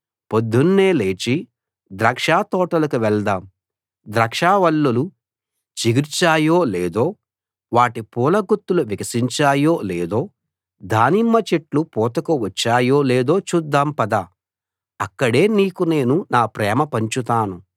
పొద్దున్నే లేచి ద్రాక్షతోటలకు వెళదాం ద్రాక్షావల్లులు చిగిర్చాయో లేదో వాటి పూల గుత్తులు వికసించాయో లేదో దానిమ్మ చెట్లు పూతకు వచ్చాయో లేదో చూద్దాం పద అక్కడే నీకు నేను నా ప్రేమ పంచుతాను